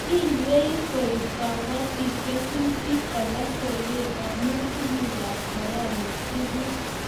iywei kuib kabotik kesutik koba soket amu teben tunguikab korona tuguk